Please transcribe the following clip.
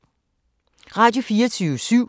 Radio24syv